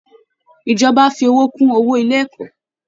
Ìjọba á fi owó kún owó ilé ẹ̀kọ́